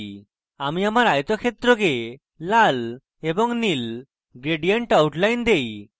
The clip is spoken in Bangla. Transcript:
আমি আমার আয়তক্ষেত্রকে লাল এবং নীল gradient outline দেই